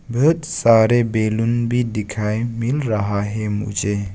बहुत सारे बैलून भी दिखाएं मिल रहा है मुझे।